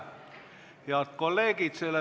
Head kolleegid!